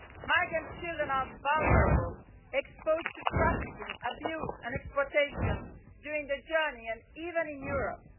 Migrant children are vulnerable exposed to trafficking, abuse and exploitation during the journey and even in Europe.